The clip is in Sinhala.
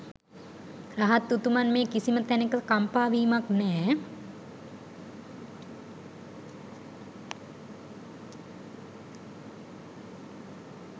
රහත් උතුමන් මේ කිසිම තැනක කම්පා වීමක් නෑ.